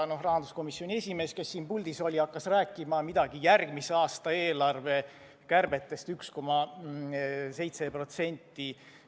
Rahanduskomisjoni esimees, kes siin puldis oli, hakkas rääkima midagi järgmise aasta eelarve kärbetest 1,7%.